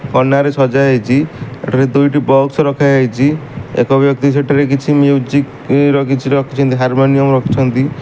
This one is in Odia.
କନାରେ ସଜାହେଇଚି। ଏଠାରେ ଦୁଇଟି ବକ୍ସ୍ ରଖାଯାଇଚି। ଏକ ବ୍ୟକ୍ତି ସେଠାରେ କିଛି ମ୍ୟୁଜିକ୍ ର କିଛି ରଖିଚନ୍ତି। ହାରମୋନିଅମ୍ ରଖିଛନ୍ତି।